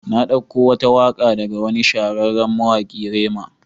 Na dauko wata waka daga wani shahararren mawaki Rema.